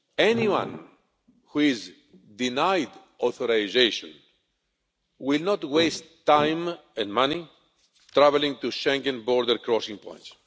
Anyone who is denied authorisation will not waste time and money travelling to Schengen border crossing points.